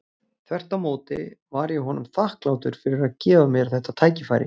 Þvert á móti var ég honum þakklátur fyrir að gefa mér þetta tækifæri.